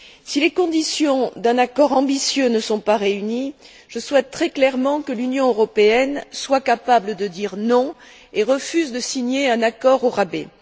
Si les conditions d'un accord ambitieux ne sont pas réunies, je souhaite très clairement que l'Union européenne soit capable de dire non et refuse de signer un accord au rabais.